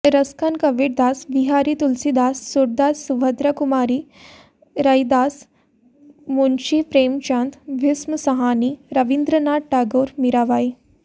Raskhan Kabirdas Bihari Tulsidas Surdas Subhadra Kumari Raidas Munshi Premchand Bhisham Sahni Rabindranath Tagore Mirabai